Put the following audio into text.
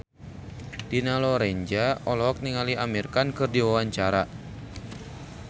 Dina Lorenza olohok ningali Amir Khan keur diwawancara